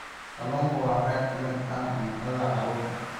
Kalluunku waa qayb ka mid ah cuntada carruurta.